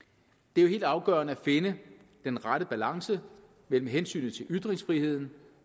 det er helt afgørende at finde den rette balance mellem hensynet til ytringsfriheden